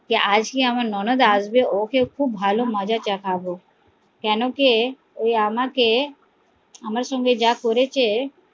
আজকে আমার ননদ আসবে ওকে খুব ভালো মজা চকাবো কেন কি ওই আমাকে আমার সঙ্গে যা করেছে